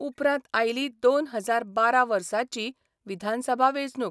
उपरांत आयली दोन हजार बारा बर्साची विधानसभा वेंचणूक.